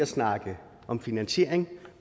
snakke om finansiering